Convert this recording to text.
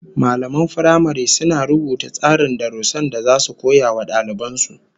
Mallaman firamare suna rubuta tsarin darussan da zasu koya wa daliban su